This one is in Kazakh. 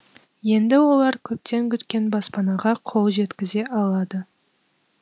енді олар көптен күткен баспанаға қол жеткізе алады